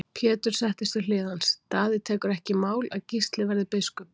Pétur settist við hlið hans:-Daði tekur ekki í mál að Gísli verði biskup.